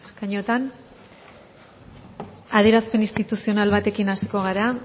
eskainoetan adierazpen instituzional batekin hasiko gara